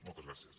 moltes gràcies